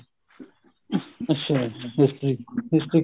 ਹਮ ਅੱਛਾ history history